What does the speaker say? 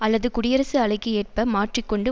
அல்லது குடியரசு அலைக்கு ஏற்ப மாற்றி கொண்டு